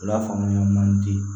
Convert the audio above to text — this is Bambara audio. U la faamuya man di